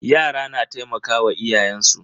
Yara na taimakawa iyayen su.